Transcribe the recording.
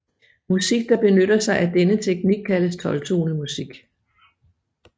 Musik der benytter sig af denne teknik kaldes tolvtonemusik